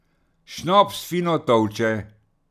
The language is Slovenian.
Šnops fino tolče.